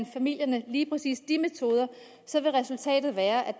familierne lige præcis de metoder vil resultatet være at